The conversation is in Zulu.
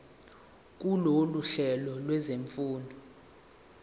kulolu hlelo lwezifundo